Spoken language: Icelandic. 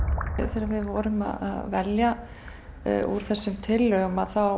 þegar við vorum að velja úr þessum tillögum